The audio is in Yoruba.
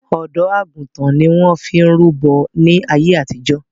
Ọ̀dọ́ àgùntàn ni wọn fi ń rúbọ̀ ní àyé àtìjọ́